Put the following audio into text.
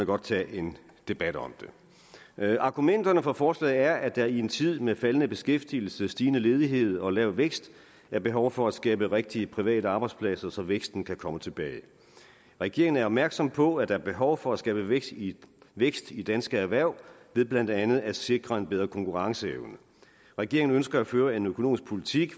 godt tage en debat om det argumenterne for forslaget er at der i en tid med faldende beskæftigelse stigende ledighed og lav vækst er behov for at skabe rigtige private arbejdspladser så væksten kan komme tilbage regeringen er opmærksom på at der er behov for at skabe vækst i vækst i danske erhverv ved blandt andet at sikre en bedre konkurrenceevne regeringen ønsker at føre en økonomisk politik